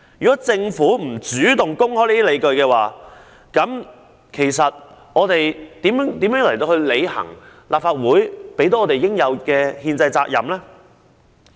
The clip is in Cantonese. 如政府不主動公開相關理據，我們如何履行立法會賦予我們應有的憲制責任？